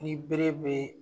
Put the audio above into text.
Ni bere be yen